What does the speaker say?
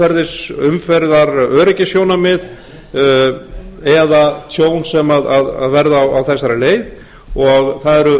við lítum á umferðaröryggissjónarmið eða tjón sem verða á þessari leið og það eru